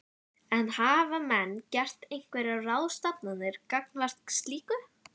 En hafa menn gert einhverjar ráðstafanir gagnvart slíku?